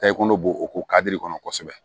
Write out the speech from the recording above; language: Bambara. Ta i kɔnɔ bo o ko kadiri kɔnɔ kosɛbɛ